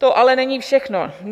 To ale není všechno.